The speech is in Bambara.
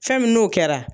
Fɛn min n'o kɛra